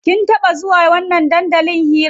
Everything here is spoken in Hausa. Kin taɓa zuwa wannan dandalin hiran?